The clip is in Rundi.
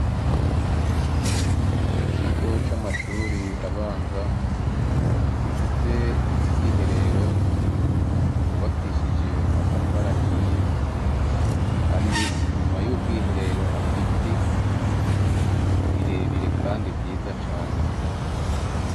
Ikigo c'amashure abanza, gifise ubwiherero, bwubakishije amatafari ahiye, kandi inyuma y'ubwiherero hari ibiti birebire kandi vyiza cane.